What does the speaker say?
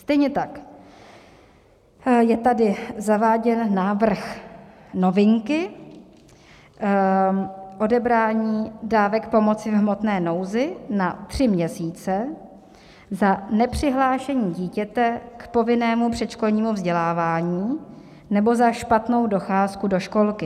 Stejně tak je tady zaváděn návrh novinky: odebrání dávek pomoci v hmotné nouzi na tři měsíce za nepřihlášení dítěte k povinnému předškolnímu vzdělávání nebo za špatnou docházku do školky.